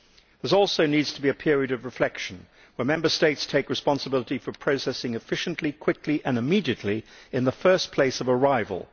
There also needs to be a period of reflection where Member States take responsibility for processing efficiently, quickly and immediately in the first place of arrival.